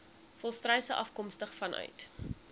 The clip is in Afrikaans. volstruise afkomstig vanuit